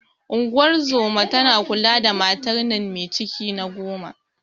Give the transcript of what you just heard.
Unguwar zoman tana kula da matar nan me ciki na goma.